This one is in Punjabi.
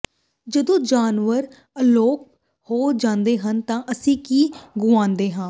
ਜਦੋਂ ਜਾਨਵਰ ਅਲੋਪ ਹੋ ਜਾਂਦੇ ਹਨ ਤਾਂ ਅਸੀਂ ਕੀ ਗੁਆਉਂਦੇ ਹਾਂ